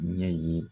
Ɲɛ ye